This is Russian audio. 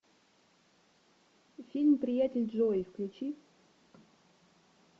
фильм приятель джои включи